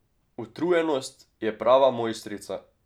Utrujenost je prava mojstrica.